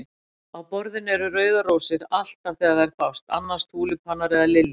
Á borðinu eru rauðar rósir, alltaf þegar þær fást, annars túlípanar eða liljur.